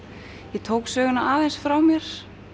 ég tók söguna aðeins frá mér